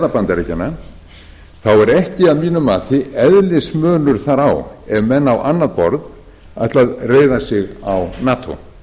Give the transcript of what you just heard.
bandaríkjanna þá er ekki að mínu mati eðlismunur þar á ef menn á annað borð ætla að reiða sig á nato